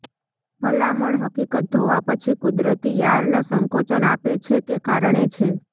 ભલામણ હકીકત ધોવા પછી કુદરતી યાર્ન સંકોચન આપે છે કે કારણે છે